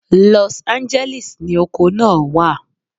Los Angeles ni oko naa wa